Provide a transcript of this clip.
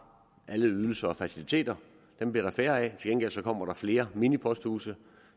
alle ydelser og faciliteter dem bliver der færre af til gengæld kommer der flere miniposthuse